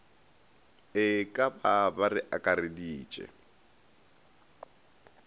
e ka ba re akareditše